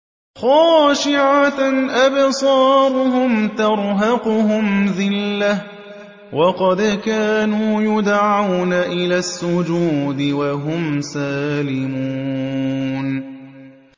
خَاشِعَةً أَبْصَارُهُمْ تَرْهَقُهُمْ ذِلَّةٌ ۖ وَقَدْ كَانُوا يُدْعَوْنَ إِلَى السُّجُودِ وَهُمْ سَالِمُونَ